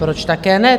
Proč také ne?